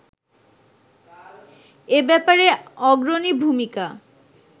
এ ব্যাপারে অগ্রণী ভূমিকা